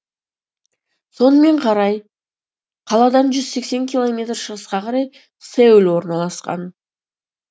сонымен қарай қаладан жүз сексен километр шығысқа қарай сеул орналасқан